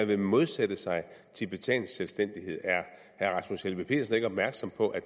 vil modsætte sig tibetansk selvstændighed er herre rasmus helveg petersen ikke opmærksom på at